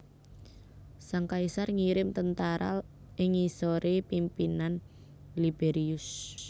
Sang kaisar ngirim tentara ing ngisoré pimpinan Liberius